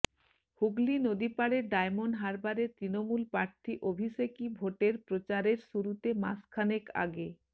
হুগলি নদীপাড়ের ডায়মন্ড হারবারে তৃণমূল প্রার্থী অভিষেকই ভোটের প্রচারের শুরুতে মাসখানেক আগে